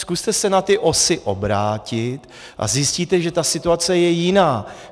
Zkuste se na ty OSA obrátit a zjistíte, že ta situace je jiná.